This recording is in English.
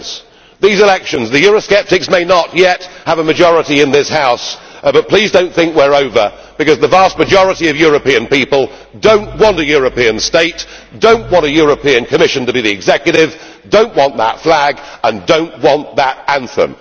After these elections, the Eurosceptic may not yet have a majority in this House, but please do not think we are over, because the vast majority of European people do not want a European state, do not want a European Commission to be the executive, do not want that flag and do not want that anthem.